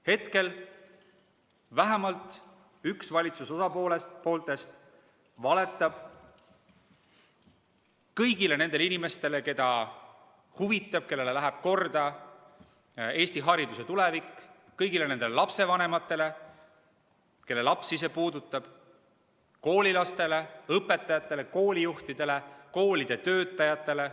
Hetkel vähemalt üks valitsuse osapooltest valetab kõigile nendele inimestele, keda huvitab või kellele läheb korda Eesti hariduse tulevik, kõigile lapsevanematele, kelle lapsi see puudutab, koolilastele endile, õpetajatele, koolijuhtidele, koolide töötajatele.